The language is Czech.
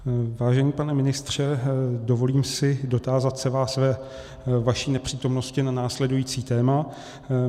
Vážený pane ministře, dovolím si dotázat se vás ve vaší nepřítomnosti na následující téma.